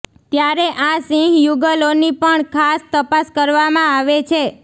ત્યારે આ સિંહ યુગલોની પણ ખાસ તપાસ કરવામાં આવે છે